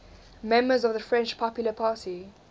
members of the french popular party